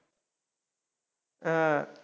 अं